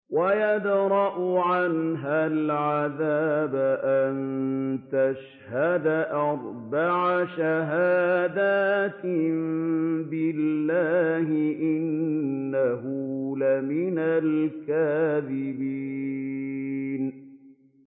وَيَدْرَأُ عَنْهَا الْعَذَابَ أَن تَشْهَدَ أَرْبَعَ شَهَادَاتٍ بِاللَّهِ ۙ إِنَّهُ لَمِنَ الْكَاذِبِينَ